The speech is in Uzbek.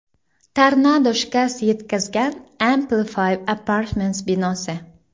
Tornado shikast yetkazgan Amplify Apartments binosi.